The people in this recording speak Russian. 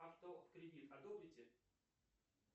авто в кредит одобрите